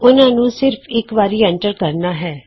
ਅਸੀਂ ਉਹਨਾਂ ਨੂੰ ਸਿਰਫ ਇਕ ਵਾਰੀ ਐੰਟਰ ਕਰਨਾ ਹੈ